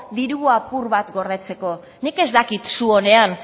diru apur bat gordetzeko nik ez dakit zuonean